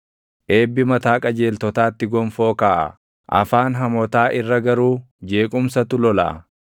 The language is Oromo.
Eebbi mataa qajeeltotaatti gonfoo kaaʼa; afaan hamootaa irra garuu jeequmsatu lolaʼa.